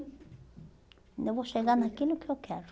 Ainda vou chegar naquilo que eu quero.